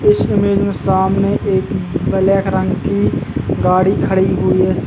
इस इमेज में सामने एक ब्लैक रंग की गाड़ी खड़ी हुई है स --